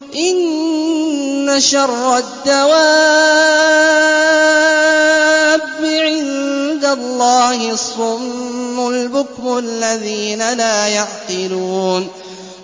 ۞ إِنَّ شَرَّ الدَّوَابِّ عِندَ اللَّهِ الصُّمُّ الْبُكْمُ الَّذِينَ لَا يَعْقِلُونَ